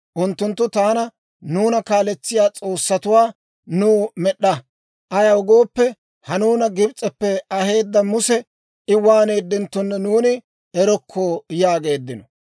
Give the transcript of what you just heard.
Unttunttu taana, ‹Nuuna kaaletsiyaa s'oossatuwaa nuw med'd'a. Ayaw gooppe, ha nuuna Gibs'eppe aheedda Muse I waaneedenttonne nuuni erokko!› yaageeddino.